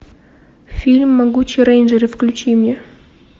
фильм могучие рейнджеры включи мне